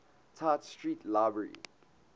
tite street library